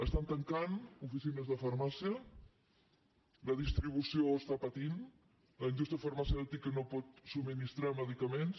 estan tancant oficines de farmàcia la distribució està patint la indústria farmacèutica no pot subministrar medicaments